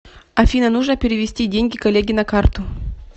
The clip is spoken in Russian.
афина нужно перевести деньги коллеге на карту